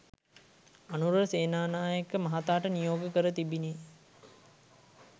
අනුර සේනානායක මහතාට නියෝග කර තිබිණි